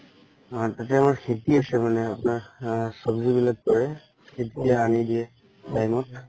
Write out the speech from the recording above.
অ তাতে আমাৰ খেতি আছে মানে আ আপোনাৰ সব্জি বিলাক কৰে তেতিয়া এনি দিয়ে time ত